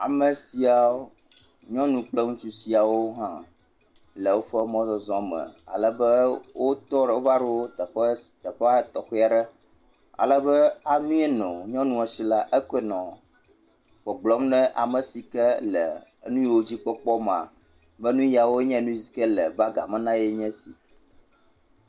Ame siawo. Nyɔnu kple ŋutsu siawo ha le woƒe mɔzɔzɔ me ale be wo tɔ. Wo va ɖo teƒea tɔxɛ aɖe. Alebe ami yinɔ nyɔnua si la, ekoe nɔ gbɔgblɔm ne ame sike le nu yiwo dzi kpɔkpɔ mea be nu yae le bagia me na ye nye esi.